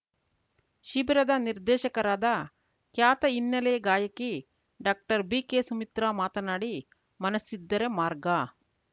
ಶಿಬಿರದ ನಿರ್ದೇಶಕರಾದ ಖ್ಯಾತ ಹಿನ್ನೆಲೆ ಗಾಯಕಿ ಡಾಕ್ಟರ್ ಬಿಕೆ ಸುಮಿತ್ರಾ ಮಾತನಾಡಿ ಮನಸ್ಸಿದ್ದರೆ ಮಾರ್ಗ